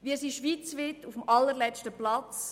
Wir sind schweizweit auf dem allerletzten Platz.